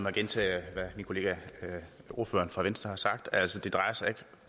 at gentage hvad min kollega ordføreren fra venstre har sagt altså det drejer sig ikke